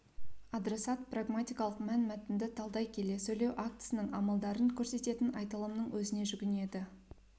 адресат прагматикалық мәнмәтінді талдай келе сөйлеу актісінің амалдарын көрсететін айтылымның өзіне жүгінеді